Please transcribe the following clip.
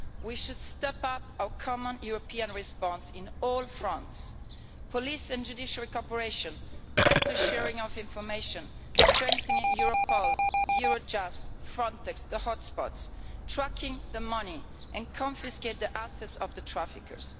We should step up our common European response on all fronts police and judicial cooperation, better sharing of information, strengthening Europol, Eurojust, Frontex and the hot spots, and tracking the money and confiscating the assets of the traffickers.